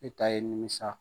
E ta ye nimisa